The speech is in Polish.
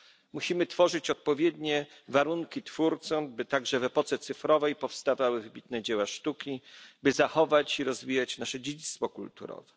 Musimy tworzyć odpowiednie warunki twórcom, by także w epoce cyfrowej powstawały wybitne dzieła sztuki, by zachować i rozwijać nasze dziedzictwo kulturowe.